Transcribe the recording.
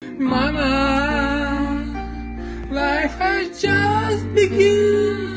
мамой лайфхаки